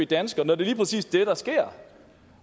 dansker når det lige præcis er det der sker